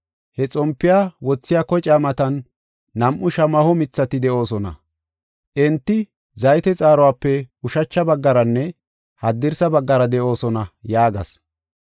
He xompiya wothiya kocaa matan nam7u shamaho mithati de7oosona. Enti zayte xaaruwape ushacha baggaranne haddirsa baggara de7oosona” yaagas.